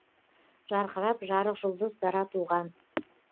жарқырап жарық жұлдыз дара туған